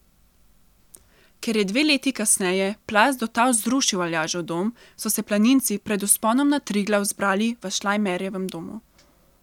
Ker je dve leti kasneje plaz do tal zrušil Aljažev dom, so se planinci pred vzponom na Triglav zbirali v Šlajmerjevem domu.